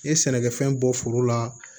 I ye sɛnɛkɛfɛn bɔ foro la